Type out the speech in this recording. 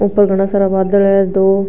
ऊपर घना सारा बादल है दो --